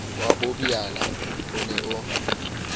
wa bobiala o ne o